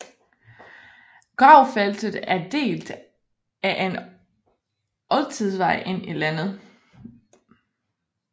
Gravfeltet er delt af en oldtidsvej ind i landet